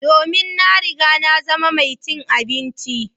Domin na riga na zama mai cin abinci.